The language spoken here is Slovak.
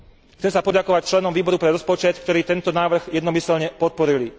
Chcem sa poďakovať členom Výboru pre rozpočet, ktorí tento návrh jednomyseľne podporili.